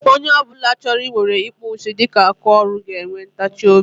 Onye ọ bụla chọrọ ị weere ịkpụ isi dịka aka ọrụ ga-enwe ntachi obi.